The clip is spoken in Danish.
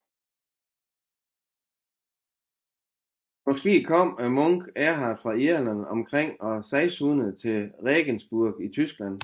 Måske kom munken Erhard fra Irland omkring år 600 til Regensburg i Tyskland